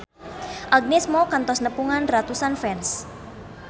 Agnes Mo kantos nepungan ratusan fans